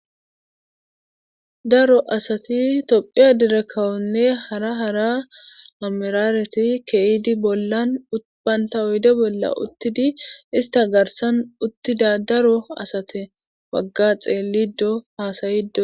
Daro asati tophiya dere kawonne hara hara amerareti keyidi bollan bantta oyde bollan uttidi ista garssan uttida daro asati baga xeelido haasayido.